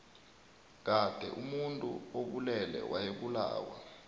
kade omuntu obulele wayebulawa